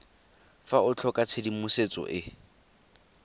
fa o tlhoka tshedimosetso e